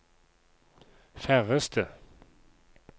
færreste